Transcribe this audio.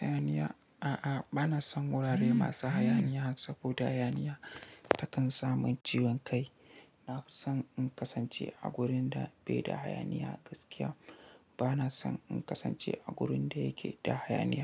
hayaniya? A'a, ba na son wurare masu hayaniya saboda hayaniya ta kan sa min ciwon kai. Na fi son in kasance a gurin da bai da hayaniya gaskiya. Ba na son in kasance a wurin da yake da hayaniya.